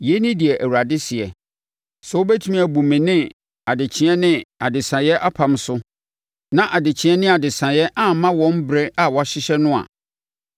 “Yei ne deɛ Awurade seɛ: ‘Sɛ wobɛtumi abu me ne adekyeɛ ne adesaeɛ apam so, na adekyeɛ ne adesaeɛ amma wɔn ɛberɛ a wɔahyehyɛ no a,